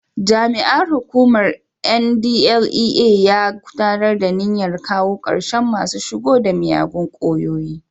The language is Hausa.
Jami'ar hukumar NDLEA ya kudarta a niyyar kawo karshen masu shigo da miyagun kwayoyi.